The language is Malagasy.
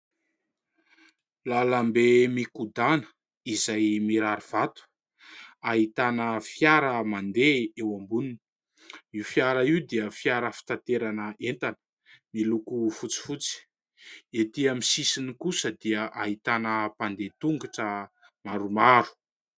Lalambe mikodàna izay mirary vato, ahitana fiara mandeha eo amboniny. Io fiara io dia fiara fitanterana entana miloko fotifotsy. Etỳ amin'ny sisiny kosa dia ahitana mpandeha an-tongotra maromaro.